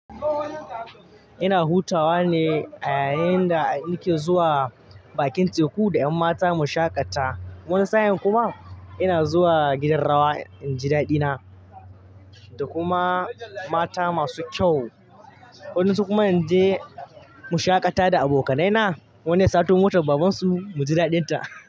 Ina hutawa ne a yayin da nake zuwa bakin teku da ƴan mata mu shaƙata. Wani sa'in kuma ina zuwa gidan rawa in ji daɗina da kuma mata masu kyau. Wayansu su kuma in je mu shaƙata da abokanaina wani ya sato motar babansu mu ji daɗinta.